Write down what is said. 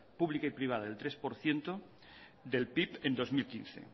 pública y privada del tres por ciento del pib en bi mila hamabost